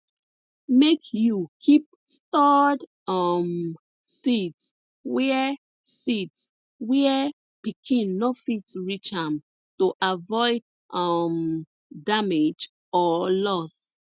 make you keep stored um seeds where seeds where pikin no fit reach am to avoid um damage or loss